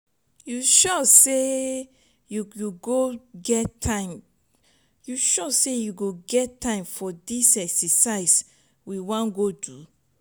you sure say you go go get time you sure say you go get time for dis exercise we wan do so?